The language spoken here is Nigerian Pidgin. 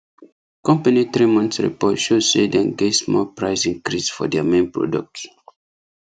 company three month report show say dem get small price increase for their main product